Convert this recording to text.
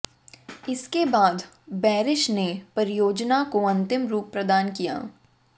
इसके बाद बैरिश ने परियोजना को अंतिम रुप प्रदान किया